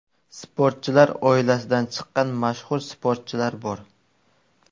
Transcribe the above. Sportchilar oilasidan chiqqan mashhur sportchilar bor.